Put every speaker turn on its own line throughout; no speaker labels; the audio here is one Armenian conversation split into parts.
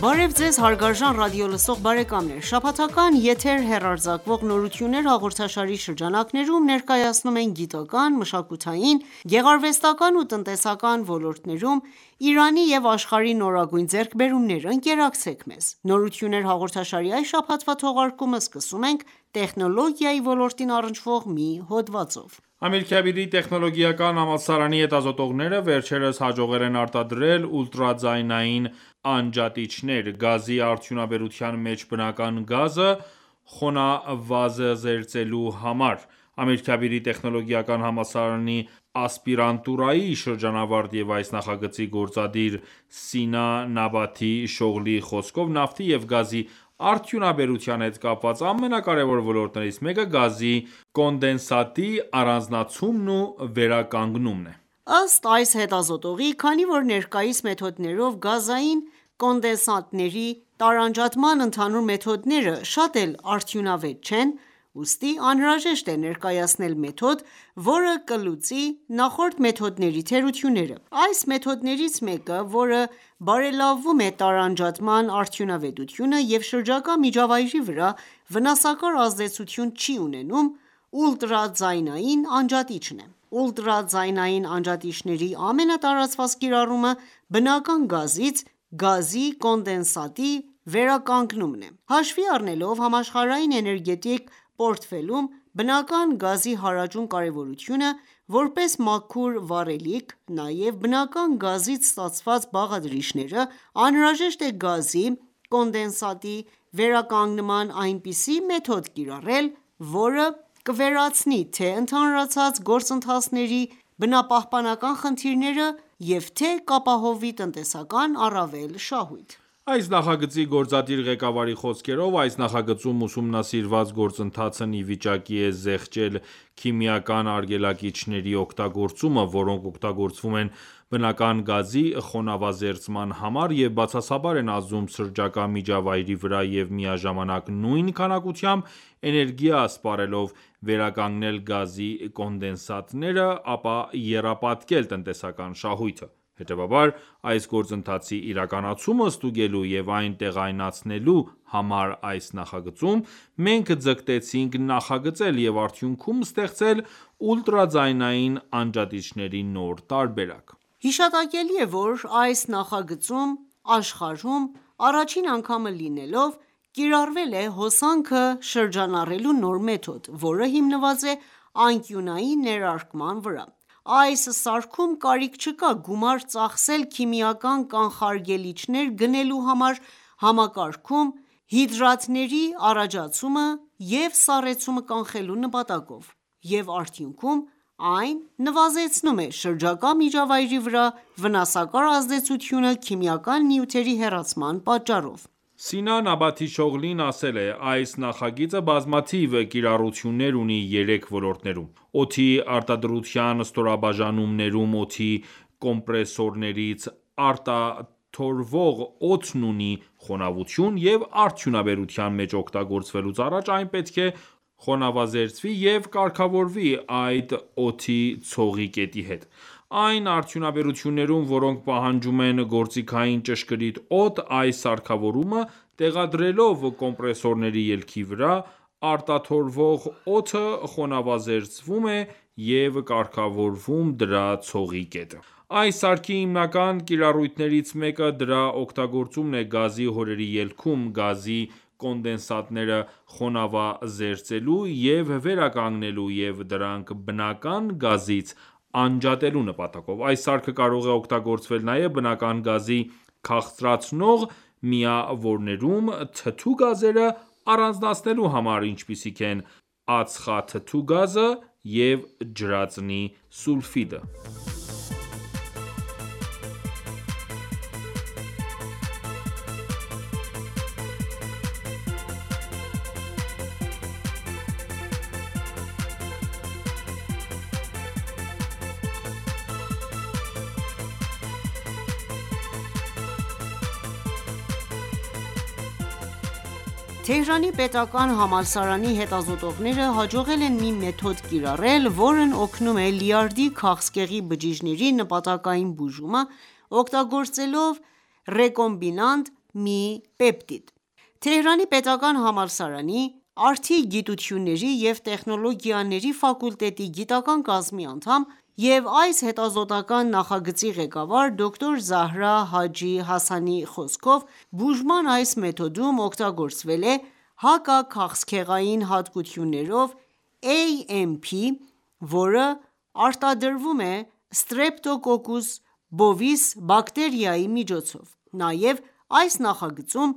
Բարև ձեզ հարգարժան ռադիոլսող բարեկամներ։ Շաբաթական եթեր հեռարձակվող «Նորություններ» հաղորդաշարի շրջանակներում, ներկայացնում ենք գիտական, մշակութային, գեղարվեստական ու տնտեսական ոլորտներում Իրանի ու աշխարհի նորագույն ձեռքբերումները։ Ընկերակցեք մեզ։ «Նորություններ» հաղորդաշարի այս շաբաթվա թողարկումը սկսում ենք տեխնոլոգիայի ոլորտին առնչվող մի հոդվածով։
Ամիրքաբիրի տեխնոլոգիական համալսարանի հետազոտողները վերջերս հաջողել են արտադրել ուլտրաձայնային անջատիչներ՝ գազի արդյունաբերության մեջ բնական գազը խոնավազերծելու համար։ Ամիրքաբիրի տեխնոլոգիական համալսարանի ասպիրանտուրայի շրջանավարտ և այս նախագծի գործադիր ՝Սինա Նաբաթի Շողլիի խոսքով՝ նավթի և գազի արդյունաբերության հետ կապված ամենակարևոր ոլորտներից մեկը՝ գազի կոնդենսատի առանձնացումն ու վերականգնումն է:
Ըստ այս հետազոտողի, քանի որ ներկայիս մեթոդներով գազային կոնդենսատների տարանջատման ընդհանուր մեթոդները շատ էլ արդյունավետ չեն, ուստի անհրաժեշտ է ներկայացնել մեթոդ, որը կլուծի նախորդ մեթոդների թերությունները: Այս մեթոդներից մեկը, որը բարելավում է տարանջատման արդյունավետությունը և շրջակա միջավայրի վրա վնասակար ազդեցություն չի ունենում, ուլտրաձայնային անջատիչն է: Ուլտրաձայնային անջատիչների ամենատարածված կիրառումը բնական գազից գազի կոնդենսատի վերականգնումն է: Հաշվի առնելով համաշխարհային էներգետիկ պորտֆելում բնական գազի հարաճուն կարևորությունը, որպես մաքուր վառելիք նաև բնական գազից ստացված բաղադրիչները, անհրաժեշտ է գազի կոնդենսատի վերականգնման այնպիսի մեթոդ կիրառել, որը կվերացնի թե՝ընդհանրացած գործընթացների բնապահպանական խնդիրները և թե՝կապահովվի տնտեսական առավել շահույթ: Այս
նախագծի գործադիր ղեկավարի խոսքերով, այս նախագծում ուսումնասիրված գործընթացն ի վիճակի է զեղչել քիմիական արգելակիչների օգտագործումը, որոնք օգտագործվում են բնական գազի խոնավազերծման համար և բացասաբար են ազդում շրջակա միջավայրի վրա և միաժամանակ նույն քանակությամբ էներգիա սպառելով, վերականգնել գազի կոնդենսատները, ապա եռապատկել տնտեսական շահույթը: Հետևաբար, այս գործընթացի իրականացումը ստուգելու և այն տեղայնացնելու համար այս նախագծում մենք ձգտեցինք նախագծել և արդյունքում ստեղծել ուլտրաձայնային անջատիչների նոր տարբերակ:
Հիշատակելի է ,որ այս նախագծում ,աշխարհում առաջին անգամը լինելով կիրառվել է հոսանքը շրջանառելու նոր մեթոդ, որը հիմնված է անկյունային ներարկման վրա։ Այս սարքում կարիք չկա գումար ծախսել քիմիական կանխարգելիչներ գնելու համար՝ համակարգում հիդրատների առաջացումը և սառեցումը կանխելու նպատակով և արդյունքում այն նվազեցնում է շրջակա միջավայրի վրա վնասակար ազդեցությունը՝ քիմիական նյութերի հեռացման պատճառով։
Սինա Նաբաթի Շողլին ասել է․-« Այս նախագիծը բազմաթիվ կիրառություններ ունի երեք ոլորտներում: Օդի արտադրության ստորաբաժանումներում օդի կոմպրեսորներից արտաթորվող օդն ունի խոնավություն, և արդյունաբերության մեջ օգտագործվելուց առաջ այն պետք է խոնավազերծվի և կարգավորվի այդ օդի ցողի կետի հետ: Այն արդյունաբերություններում, որոնք պահանջում են գործիքային ճշգրիտ օդ, այս սարքավորումը տեղադրելով կոմպրեսորների ելքի վրա, արտաթորվող օդը խոնավազերծվում է և կարգավորվում դրա ցողի կետը: Այս սարքի հիմնական կիրառություններից մեկը ՝դրա օգտագործումն է գազի հորերի ելքում, գազի կոնդենսատները խոնավազերծելու և վերականգնելու և դրանք բնական գազից անջատելու նպատակով: Այս սարքը կարող է օգտագործվել նաև բնական գազի քաղցրացնող միավորներում՝ թթու գազերը առանձնացնելու համար, ինչպիսիք են՝ ածխաթթու գազը և ջրածնի սուլֆիդը»:
Թեհրանի պետական համալսարանի հետազոտողները հաջողել են մի մեթոդ կիրառել, որն օգնում է լյարդի քաղցկեղի բջիջների նպատակային բուժմանը` օգտագործելով ռեկոմբինանտ մի պեպտիդ: Թեհրանի պետական համալսարանի արդի գիտությունների և տեխնոլոգիաների ֆակուլտետի գիտական կազմի անդամ և այս հետազոտական նախագծի ղեկավար դոկտ. Զահրա Հաջի Հասանի խոսքով, բուժման այս մեթոդում օգտագործվել է՝ հակաքաղցկեղային հատկություններով AMP, որը արտադրվում է Streptococcus bovis բակտերիայի միջոցով: Նաև այս նախագծում,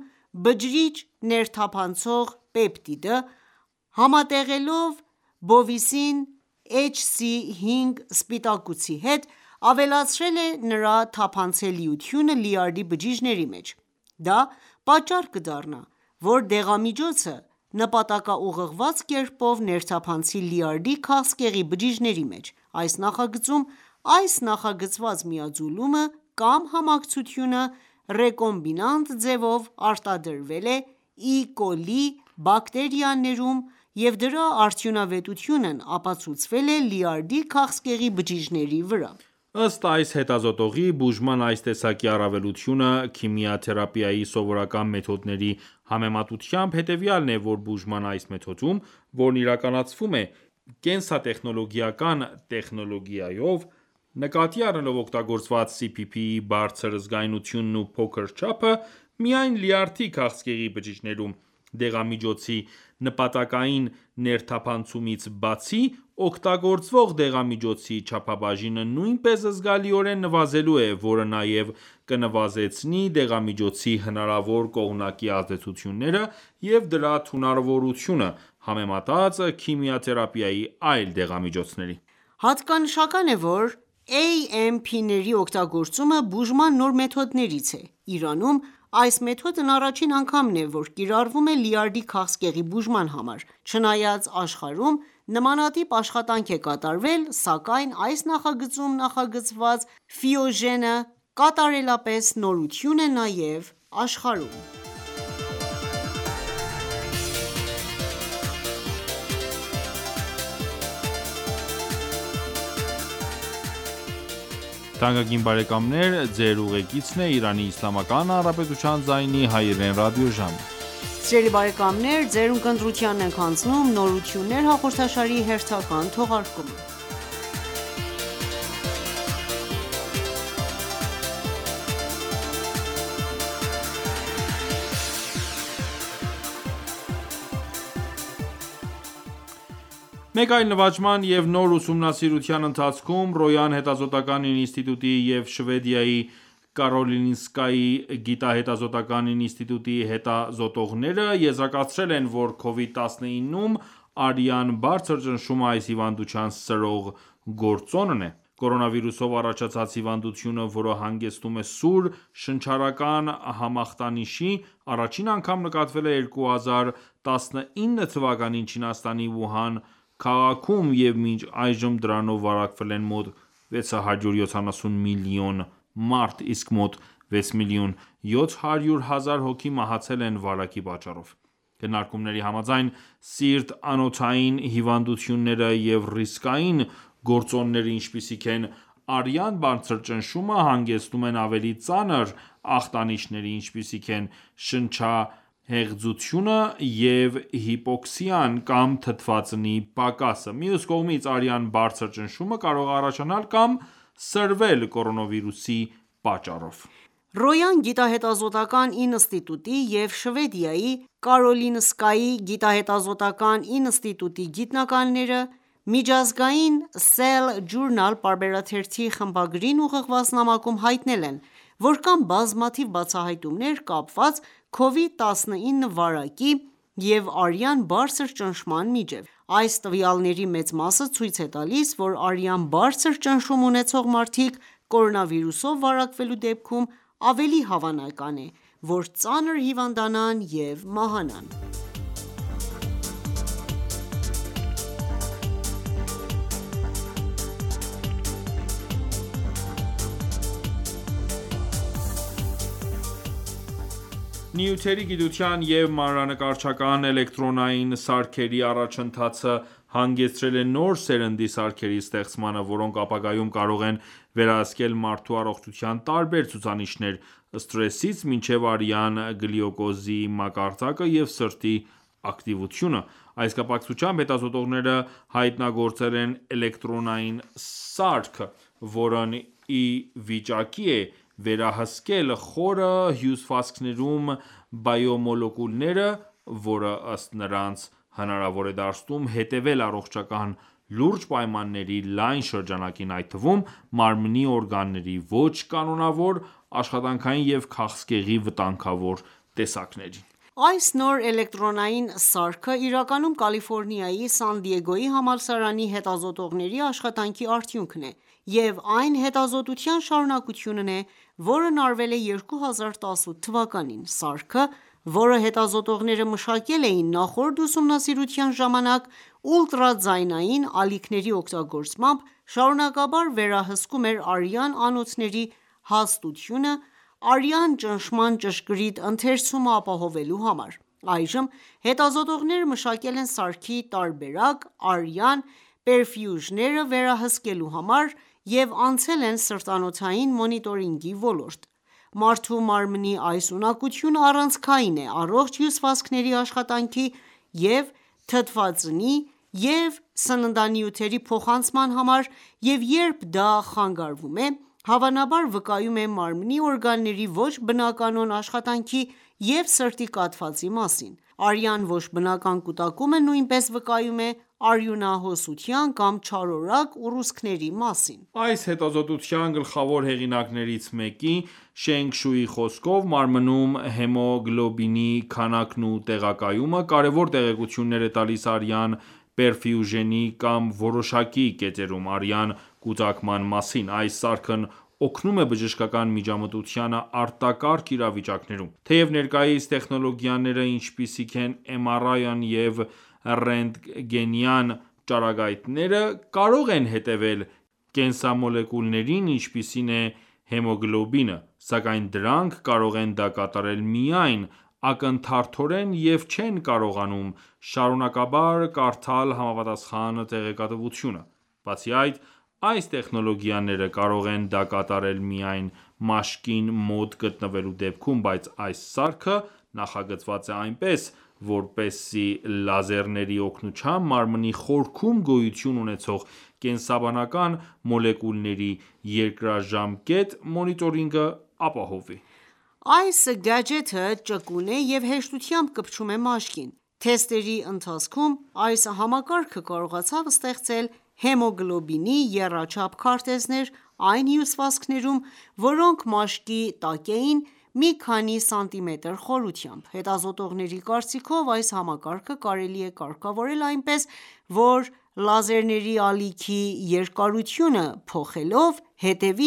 բջիջ ներթափանցող պեպտիդը ,համատեղելով bovicin HC۵ սպիտակուցի հետ ,ավելացրել է նրա թափանցելիությունը լյարդի բջիջների մեջ: Դա պատճառ կդառնա, որ դեղամիջոցը նպատակաուղղված կերպով ներթափանցի լյարդի քաղցկեղի բջիջների մեջ: Այս նախագծում, այս նախագծված միաձուլումը կամ համակցությունը, ռեկոմբինանտ ձևով արտադրվել է E. coli բակտերիաներում և դրա արդյունավետությունն ապացուցվել է լյարդի քաղցկեղի բջիջների վրա:
Ըստ այս հետազոտողի, բուժման այս տեսակի առավելությունը՝քիմիաթերապիայի սովորական մեթոդների համեմատությամբ հետևյալն է, որ բուժման այս մեթոդում, որն իրականացվում է կենսատեխնոլոգիական տեխնոլոգիայով, նկատի առնելով օգտագործված CPP-ի բարձր զգայունությունն ու փոքր չափը, միայն լյարդի քաղցկեղի բջիջներում դեղամիջոցի նպատակային ներթափանցումից բացի, օգտագործվող դեղամիջոցի չափաբաժինը նույնպես զգալիորեն նվազելու է ,որը նաև կնվազեցնի դեղամիջոցի հնարավոր կողմնակի ազդեցությունները և դրա թունավորությունը՝ համեմատած քիմիաթերապիայի այլ դեղամիջոցների:
Հատկանշական է, որ AMP-ների օգտագործումը բուժման նոր մեթոդներից է։Իրանում այս մեթոդն առաջին անգամ է,որ կիրառվում է լյարդի քաղցկեղի բուժման համար, չնայած աշխարհում նմանատիպ աշխատանք է կատարվել, սակայն այս նախագծում ,նախագծված «Ֆիոժեն»-ը կատարելապես նորություն է նաև աշխարհում:
Մեկ այլ նվաճման և նոր ուսումնասիրության ընթացքում, Ռոյան հետազոտական ինստիտուտի և Շվեդիայի Կարոլինսկայի գիտահետազոտական ինստիտուտի հետազոտողները եզրակացրել են, որ Covid-19-ում արյան բարձր ճնշումը այս հիվանդության սրող գործոնն է։ Կորոնավիրուսով առաջացած հիվանդությունը, որը հանգեցնում է սուր շնչառական համախտանիշի, առաջին անգամ նկատվել է 2019 թվականին Չինաստանի Ուհան քաղաքում, և մինչ այժմ դրանով վարակվել են մոտ 670 միլիոն մարդ, իսկ մոտ 6 միլիոն 700 հազար հոգի մահացել են վարակի պատճառով: Քննարկումների համաձայն՝ սիրտ-անոթային հիվանդությունները և ռիսկային գործոնները, ինչպիսիք են՝ արյան բարձր ճնշումը, հանգեցնում են ավելի ծանր ախտանիշների, ինչպիսիք են՝ շնչահեղձությունը և հիպոքսիան կամ թթվածնի պակասը: Մյուս կողմից, արյան բարձր ճնշումը կարող է առաջանալ կամ սրվել կորոնավիրուսի պատճառով:
Ռոյան գիտահետազոտական ինստիտուտի և Շվեդիայի Կարոլինսկայի գիտահետազոտական ինստիտուտի գիտնականները միջազգային« Cell Journal»պարբերաթերթի խմբագրին ուղղված նամակում հայտնել են, որ կան բազմաթիվ բացահայտումներ՝ կապված Covid-19 վարակի և արյան բարձր ճնշման միջև։ Այս տվյալների մեծ մասը ցույց է տալիս, որ արյան բարձր ճնշում ունեցող մարդիկ կորոնավիրուսով վարակվելու դեպքում ավելի հավանական է, որ ծանր հիվանդանան և մահանան:
Նյութերի գիտության և մանրանկարչական էլեկտրոնային սարքերի առաջընթացը հանգեցրել է նոր սերնդի սարքերի ստեղծմանը, որոնք ապագայում կարող են վերահսկել մարդու առողջության տարբեր ցուցանիշներ՝ սթրեսից մինչև արյան գլյուկոզի մակարդակը և սրտի ակտիվությունը: Այս կապակցությամբ հետազոտողները հայտնագործել են էլեկտրոնային սարք, որն ի վիճակի է վերահսկել խորը հյուսվածքներում բիոմոլեկուլները, որը ըստ նրանց հնարավոր է դարձնում հետևել առողջական լուրջ պայմանների լայն շրջանակին, այդ թվում՝ մարմնի օրգանների ոչ կանոնավոր աշխատանքին և քաղցկեղի վտանգավոր տեսակներին:
Այս նոր էլեկտրոնային սարքը իրականում Կալիֆորնիայի Սան Դիեգոյի համալսարանի հետազոտողների աշխատանքի արդյունքն է և այն հետազոտության շարունակությունն է, որն արվել է 2018 թվականին։ Սարքը, որը հետազոտողները մշակել էին նախորդ ուսումնասիրության ժամանակ, ուլտրաձայնային ալիքների օգտագործմամբ,՝ շարունակաբար վերահսկում էր արյան անոթների հաստությունը՝ արյան ճնշման ճշգրիտ ընթերցումը ապահովելու համար: Այժմ հետազոտողները մշակել են սարքի տարբերակ՝ արյան պերֆյուժենը վերահսկելու համար և անցել են սրտանոթային մոնիտորինգի ոլորտ: Մարդու մարմնի այս ունակությունը առանցքային է առողջ հյուսվածքների աշխատանքի և թթվածնի և սննդանյութերի փոխանցման համար և երբ դա խանգարվում է, հավանաբար վկայում է մարմնի օրգանների ոչ բնականոն աշխատանքի ու սրտի կաթվածի մասին։ Արյան ոչ բնական կուտակումը նույնպես վկայում է արյունահոսության կամ չարորակ ուռուցքների մասին:
Այս հետազոտության գլխավոր հեղինակներից մեկի՝ Շենգ Շուի խոսքով՝ մարմնում հեմոգլոբինի քանակն ու տեղակայումը կարևոր տեղեկություններ է տալիս արյան պերֆյուժենի կամ որոշակի կետերում արյան կուտակման մասին։ Այս սարքն օգնում է բժշկական միջամտությանը արտակարգ իրավիճակներում: Թեև ներկայիս տեխնոլոգիաները, ինչպիսիք են՝ MRI-ն և ռենտգենյան ճառագայթները, կարող են հետևել կենսամոլեկուլներին, ինչպիսին է հեմոգլոբինը, սակայն դրանք կարող են դա կատարել միայն ակնթարթորեն և չեն կարողանում շարունակաբար կարդալ համապատասխան տեղեկատվությունը: Բացի այդ, այս տեխնոլոգիաները կարող են դա կատարել միայն մաշկին մոտ գտնվելու դեպքում։ Բայց այս սարքը նախագծված է այնպես, որպեսզի լազերների օգնությամբ մարմնի խորքում գոյություն ունեցող կենսաբանական մոլեկուլների երկարաժամկետ մոնիտորինգը ապահովի:
Այս գաջեթը ճկուն է և հեշտությամբ կպչում է մաշկին: Թեստերի ընթացքում այս համակարգը կարողացավ ստեղծել հեմոգլոբինի եռաչափ քարտեզներ այն հյուսվածքներում, որոնք մաշկի տակ էին մի քանի սանտիմետր խորությամբ: Հետազոտողների կարծիքով՝ այս համակարգը կարելի է կարգավորել այնպես, որ լազերների ալիքի երկարությունը փոխելով հետևի